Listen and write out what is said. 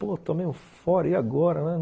Pô, tomei meio fora, e agora, né?